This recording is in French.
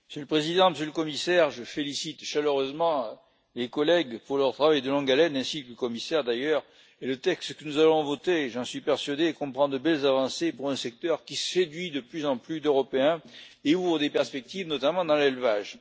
Monsieur le Président, Monsieur le Commissaire, je félicite chaleureusement les collègues pour leur travail de longue haleine, ainsi que le Commissaire, d'ailleurs. Le texte que nous allons voter j'en suis persuadé comprend de belles avancées pour un secteur qui séduit de plus en plus d'Européens et ouvre des perspectives, notamment dans l'élevage.